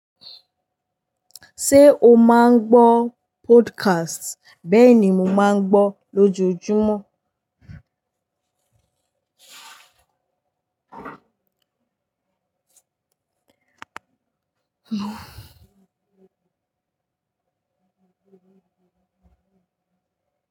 Ṣé o máa ń gbọ́ podcast? Bẹ́ẹ̀ ni mo máa ń gbọ́ lójoojúmọ́.